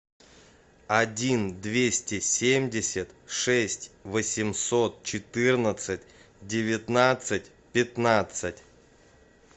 один двести семьдесят шесть восемьсот четырнадцать девятнадцать пятнадцать